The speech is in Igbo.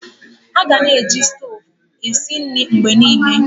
Aga-na eji stovu esi nri mgbe niile.